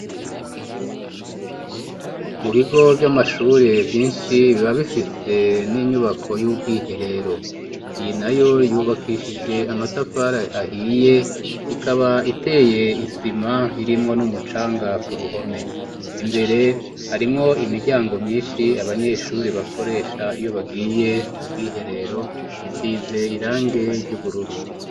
Mu bigo vy'amashuri vyinshi biba bifise n'inyubako y'ubwiherero. Iyi nayo yubakishije amatafari ahiye ikaba iteye isima irimwo n'umucanga ku ruhome. Imbere harimwo imiryango myinshi abanyeshure bakoresha iyo bagiye mu bwiherero, isize irangi ry'ubururu.